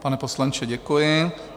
Pane poslanče, děkuji.